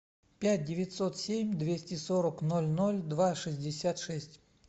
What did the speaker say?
пять девятьсот семь двести сорок ноль ноль два шестьдесят шесть